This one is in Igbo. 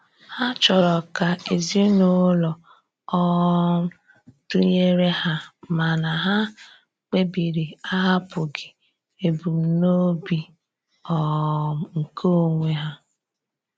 Ha chọrọ ka ezinụlọ um dụnyere ha mana ha kpebiri ahapụghị ebumnobi um nke onwe ha.